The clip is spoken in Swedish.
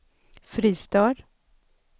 Fristad